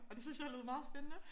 Og det synes jeg lød meget spændende